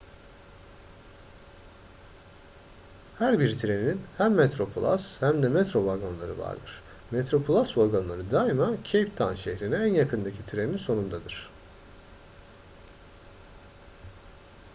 her bir trenin hem metroplus hem de metro vagonları vardır metroplus vagonları daima cape town şehrine en yakındaki treninin sonundadır